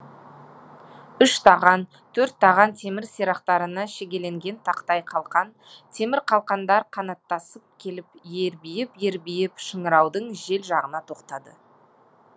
үш таған төрт таған темір сирақтарына шегеленген тақтай қалқан темір қалқандар қанаттасып келіп ербиіп ербиіп шыңыраудың жел жағына тоқтады